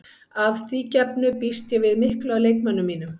Að því gefnu býst ég við miklu af leikmönnum mínum.